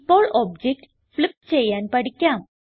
ഇപ്പോൾ object flip ചെയ്യാൻ പഠിക്കാം